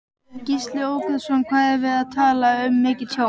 Gísli Óskarsson: Hvað erum við að tala um mikið tjón?